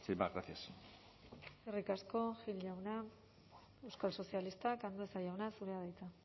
más gracias eskerrik asko gil jauna euskal sozialistak andueza jauna zurea da hitza